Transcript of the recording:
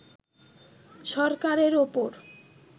সরকারের ওপর